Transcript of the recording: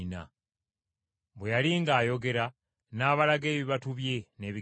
Bwe yali ng’ayogera n’abalaga ebibatu bye n’ebigere bye.